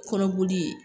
Kɔnɔboli